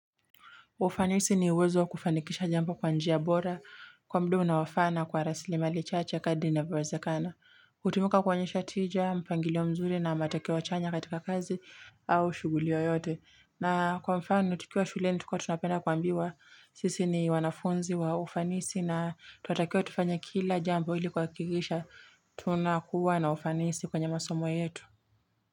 Ufanisi ni uwezo kufanikisha jambo kwa njia bora, kwa mda unaofaa kwa rasilimali chache kadri inavyowezekana. Utumuka kuonyesha tija, mpangilio mzuri na matokeo chanya katika kazi au shughuli yoyote. Na kwa mfano, tukiwa shuleni tukiwa tunapenda kuambiwa, sisi ni wanafunzi wa ufanisi na twatakiwa tufanye kila jambo ili kuwakikisha, tunakuwa na ufanisi kwenye masomo yetu.